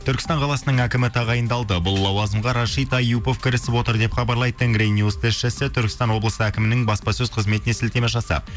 түркістан қаласының әкімі тағайындалды бұл лауазымға рашид аюпов кірісіп отыр деп хабарлайды тенгринюс тілшісі түркістан облысы әкімінің баспасөз қызметіне сілтеме жасап